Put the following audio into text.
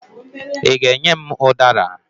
Ị ga-enye m ụdara?